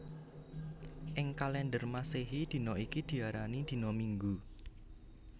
Ing kalèndher Masèhi dina iki diarani dina Minggu